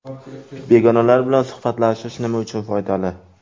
Begonalar bilan suhbatlashish nima uchun foydali?.